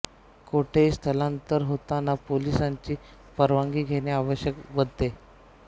कोठेही स्थलांतर होतांना पोलिसांची परवानगी घेणे आवश्यक बनले